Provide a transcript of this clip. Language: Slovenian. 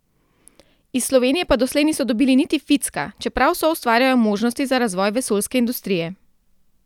Iz Slovenije pa doslej niso dobili niti ficka, čeprav soustvarjajo možnosti za razvoj vesoljske industrije.